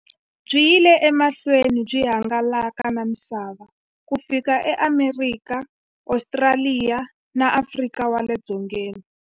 Byi yile emahlweni byi hangalaka na misava ku fika e Amerika, Ostraliya na Afrika wale dzongeni.